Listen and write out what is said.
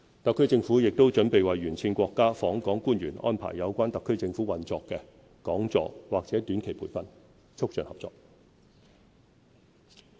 特區政府亦準備為沿線國家訪港官員安排有關特區政府運作的講座或短期培訓，促進合作。